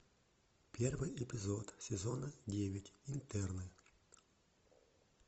первый эпизод сезона девять интерны